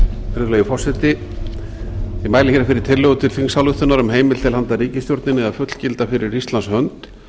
virðulegi forseti ég mæli fyrir fyrir tillögu til þingsályktunar um heimild til handa ríkisstjórninni að fullgilda fyrir íslands hönd